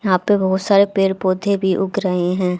यहां पे बहुत सारे पेड़ पौधे भी उग रहे हैं।